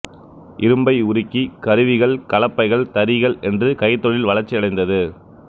இரும்பை உருக்கி கருவிகள கலப்பைகள் தறிகள் என்று கைத்தொழில் வளர்ச்சியடைந்தது